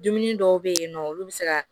Dumuni dɔw be yen nɔ olu bi se ka